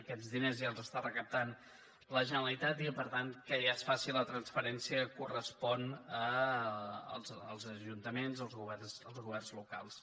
aquests diners ja els està recaptant la generalitat i per tant que ja es faci la transferència correspon als ajuntaments als governs locals